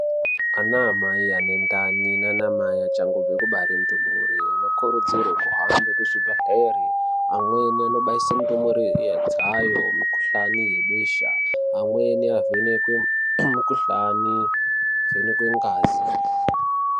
Ana mai ane ndani nana mai achangobve kubare ndumure anokurudzirwa kuhambe kuzvibhehlera. Amweni anobayise ndumure dzayo mukhuhlane yebesa. Amweni avhenekwe mikhuhlane, ngekuvhenekwa ngazi.